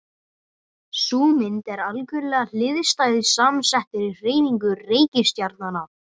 Sú mynd er algerlega hliðstæð samsettri hreyfingu reikistjarnanna.